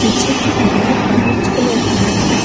पीछे की दीवार ऑरेंज कलर की है।